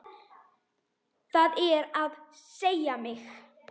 Það er að segja mig.